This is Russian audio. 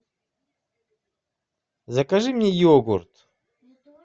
закажи мне йогурт